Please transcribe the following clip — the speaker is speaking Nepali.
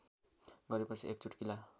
गरेपछि एक चुट्किला